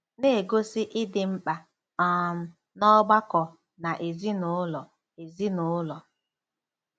Na-egosi ịdị mkpa um n’ọgbakọ na ezi-na-ụlọ ezi-na-ụlọ